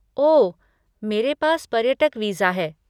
ओह, मेरे पास पर्यटक वीज़ा है।